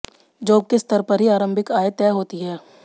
job के स्तर पर ही आंरभिक आय तय होती है